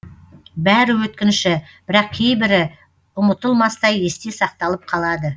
бәрі өткінші бірақ кейбірі ұмытылмастай есте сақталып қалады